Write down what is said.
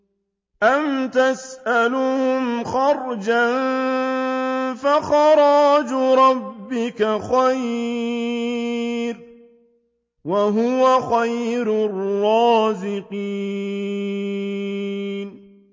أَمْ تَسْأَلُهُمْ خَرْجًا فَخَرَاجُ رَبِّكَ خَيْرٌ ۖ وَهُوَ خَيْرُ الرَّازِقِينَ